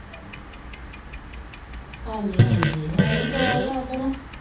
ਹਾਂਜ਼ੀ ਹਾਂਜੀ ਹੈ ਹੀ ਚੋਲ ਹੈ ਉੱਧਰ।